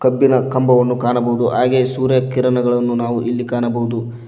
ಕಬ್ಬಿನ ಕಂಬವನ್ನು ಕಾಣಬಹುದು ಹಾಗೆ ಸೂರ್ಯಕಿರಣಗಳನ್ನು ನಾವು ಇಲ್ಲಿ ಕಾಣಬಹುದು.